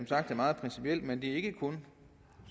sagt er meget principielt men ikke kun